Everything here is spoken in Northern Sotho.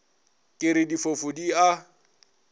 ke re difofu di a